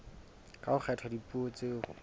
ha ho kgethwa dipuo tseo